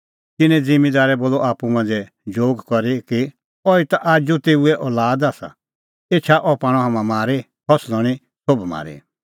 तिन्नैं ज़िम्मींदारै बोलअ आप्पू मांझ़ै जोग करी कि अहैई ता आजू तेऊए लुआद आसा एछा अह पाणअ हाम्हां मारी और फसल हणीं सोभ म्हारी